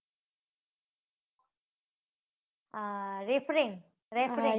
હા, referring. Referring